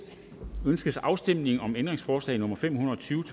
ønskes afstemning om ændringsforslag nummer fem hundrede og tyve